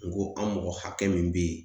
N ko an mɔgɔ hakɛ min bɛ yen